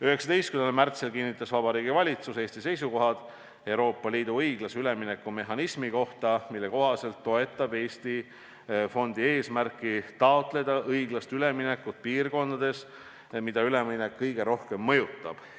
" 19. märtsil kinnitas Vabariigi Valitsus Eesti seisukohad Euroopa Liidu õiglase ülemineku mehhanismi kohta, mille järgi toetab Eesti fondi eesmärki taotleda õiglast üleminekut piirkondades, mida üleminek kõige rohkem mõjutab.